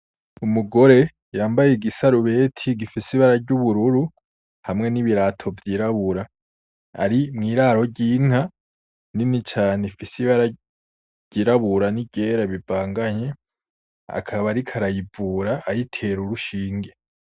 Umugore yambaye igisarubeti gifise ibara ry’ubururu, hamwe n’ibirato vyirabura ari mw’iraro ry’inka nini cane, ifise ibara ryirabura n’iryera bivanganye akaba ariko arayivura ayitera urushinge.